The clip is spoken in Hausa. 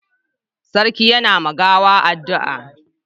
sarki ya na ma gawan addua